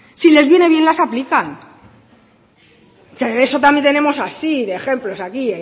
si les viene bien las aplican que eso también tenemos así de ejemplos aquí